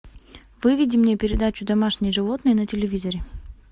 выведи мне передачу домашние животные на телевизоре